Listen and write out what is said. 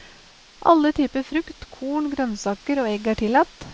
Alle typer frukt, korn, grønnsaker og egg er tillatt.